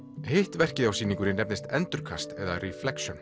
hitt verkið á sýningunni nefnist endurkast eða